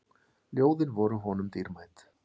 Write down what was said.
Ljóðin voru honum dýrmæt.